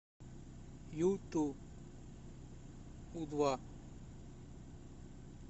юту у два